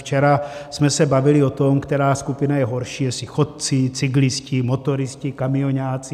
Včera jsme se bavili o tom, která skupina je horší, jestli chodci, cyklisté, motoristé, kamioňáci.